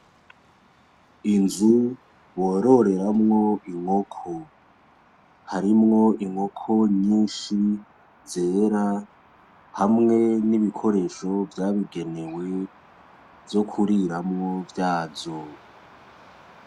Inzu bororeramwo inkoko ,Harimwo inkoko nyishi zera hamwe n'ibikoresho vyabigenewe vyo kuriramwo vyazo .